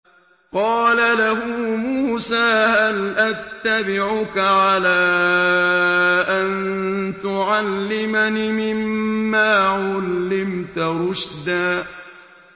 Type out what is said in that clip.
قَالَ لَهُ مُوسَىٰ هَلْ أَتَّبِعُكَ عَلَىٰ أَن تُعَلِّمَنِ مِمَّا عُلِّمْتَ رُشْدًا